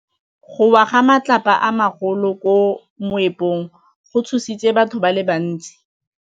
Go wa ga matlapa a magolo ko moepong go tshositse batho ba le bantsi.